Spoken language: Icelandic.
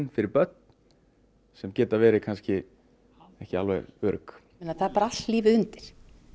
fyrir börn sem geta verið kannski ekki alveg örugg það er bara allt lífið undir